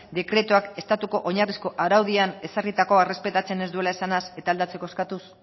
dekretuak estatutuko oinarrizko araudian ezarritako errespetatzen ez duela esanaz eta aldatu eskatuz